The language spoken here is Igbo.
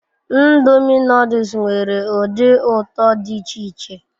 Ndomi noduls nwere udi uto di ich-iche